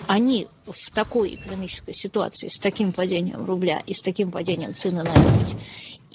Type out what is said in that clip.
они в такой экономической ситуации с таким падением рубля и с таким падением цены на нефть